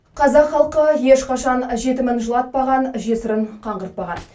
қазақ халқы ешқашан жетімін жылатпаған жесірін қаңғыртпаған